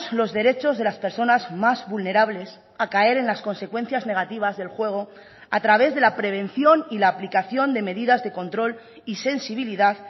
los derechos de las personas más vulnerables a caer en las consecuencias negativas del juego a través de la prevención y la aplicación de medidas de control y sensibilidad